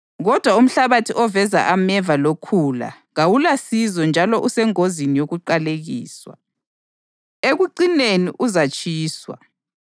Kodwa umhlabathi oveza ameva lokhula kawulasizo njalo usengozini yokuqalekiswa. Ekucineni uzatshiswa.